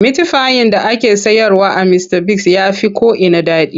Mitifayin da ake sayarwa a Mistabigs ya fi ko'ina daɗi.